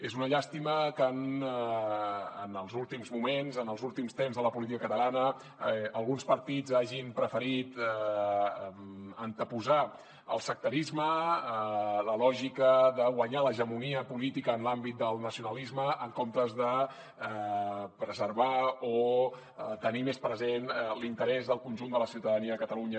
és una llàstima que en els últims moments en els últims temps de la política catalana alguns partits hagin preferit anteposar el sectarisme la lògica de guanyar l’hegemonia política en l’àmbit del nacionalisme en comptes de preservar o tenir més present l’interès del conjunt de la ciutadania de catalunya